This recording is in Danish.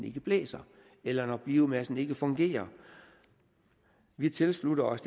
ikke blæser eller når biomassen ikke fungerer vi tilslutter os